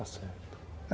Está certo.